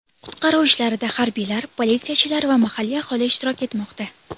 Qutqaruv ishlarida harbiylar, politsiyachilar va mahalliy aholi ishtirok etmoqda.